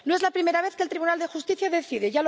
No es la primera vez que el Tribunal de Justicia decide